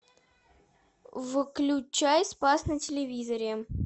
включай спас на телевизоре